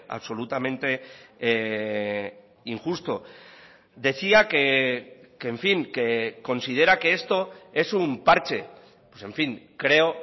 absolutamente injusto decía que en fin que considera que esto es un parche pues en fin creo